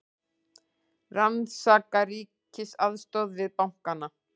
Rannsaka ríkisaðstoð við bankana